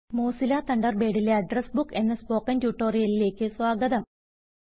Mozilla തണ്ടർബേഡിലെ address book എന്ന spoken ട്യൂട്ടോറിയലിലേക്ക് സ്വാഗതം